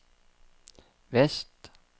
vest